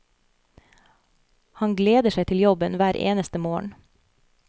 Han gleder seg til jobben hver eneste morgen.